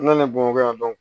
N nana bamakɔ yan